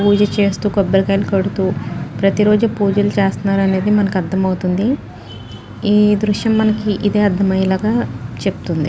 పూజచేస్తూ కొబ్బరికాయలు కొడుతూ ప్రతిరోజూ పూజలు చేస్తున్నారు అని మనకి అర్థమవుతుందిఈ దృశ్యం మనకి ఇదే అర్థమయ్యేలాగా చెప్తుంది .